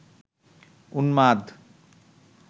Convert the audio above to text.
উন্মাদ